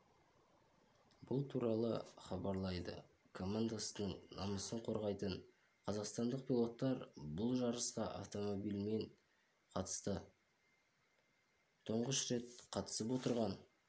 бұл туралы хабарлайды командасының намысын қорғайтын қазақстандық пилоттар бұл жарысқа автомобилімен қатысты тұңғыш рет қатысып отырған